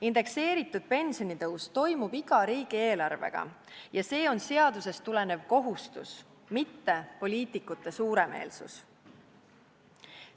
Indekseeritud pensionitõus toimub iga riigieelarvega ja see on seadusest tulenev kohustus, mitte poliitikute suuremeelsus.